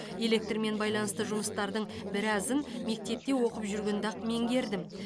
электрмен байланысты жұмыстардың біразын мектепте оқып жүргенде ақ меңгердім